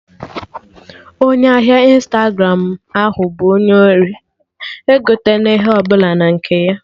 Onye ahịa Ịnstagramụ ahụ bụ onye ori, egoten'ihe ọbụla na nke ya!